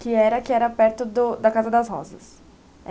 Que era que era perto do da Casa das Rosas.